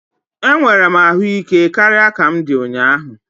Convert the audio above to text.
Enwere m ahụ ike karịa ka m di ụnyaahụ